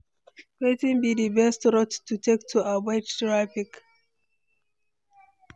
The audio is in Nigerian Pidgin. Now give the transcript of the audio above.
Wetin be di best route to take to avoid traffic?